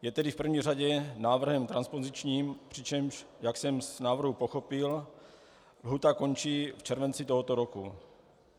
Je tedy v první řadě návrhem transpozičním, přičemž, jak jsem z návrhu pochopil, lhůta končí v červenci tohoto roku.